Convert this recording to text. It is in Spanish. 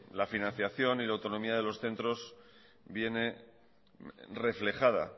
la financiación y la autonomía de los centros viene reflejada